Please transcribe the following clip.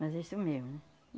Mas é isso mesmo, né?